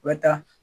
U bɛ taa